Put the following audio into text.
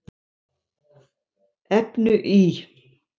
efnu í